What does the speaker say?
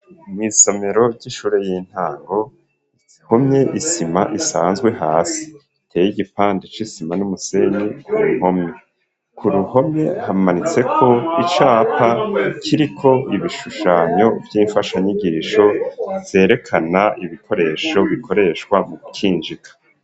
Mw'isomero ry'ishure y'intango ihomye isima isanzwe hasi, iteye igipande c'isima n'umusenyi ku mpome. Ku ruhome hamanitseko icapa kiriko ibishushanyo vy'imfashanyigisho, vyerekana ibikoresho bikoreshwa mu gukinjika.